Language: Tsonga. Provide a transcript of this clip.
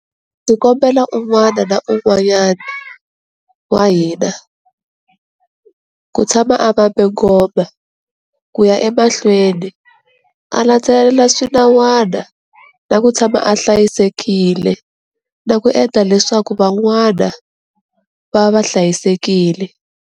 Ndzi kombela un'wana na un'wanyana wa hina ku tshama a vambe ngoma, ku ya emahlweni a landzelela swinawana na ku tshama a hlayisekile na ku endla leswaku van'wana va va va hlayisekile.